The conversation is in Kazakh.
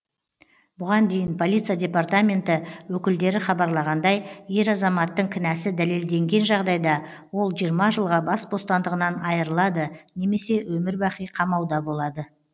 бұған дейін полиция департаменті өкілдері хабарлағандай ер азаматтың кінәсі дәлелденген жағдайда ол жиырма жылға бас бостандығынан айырылады немесе өмірбақи қамауда болады